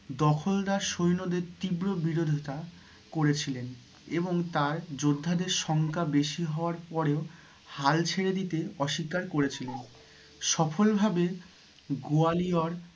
দখলদার সৈন্যদের তীব্র বিরোধিতা করেছিলেন এবং তাঁর যোদ্ধা দের সংখ্যা বেশি হওয়ার পরেও হাল ছেড়ে দিতে অস্বীকার করেছিলেন সফল ভাবে গয়ালিওর